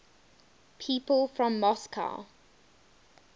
people from moscow